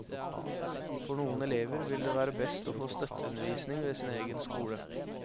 For noen elever vil det være best å få støtteundervisning ved sin egen skole.